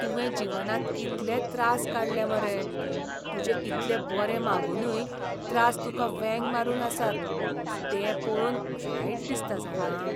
तुवें जीवनांत कितलें त्रास काडलें मरे, तुजें इतले बरें मागुनूय त्रास तुका वेंग मारून आसात ते पळोवन वायट दिसता जाणा.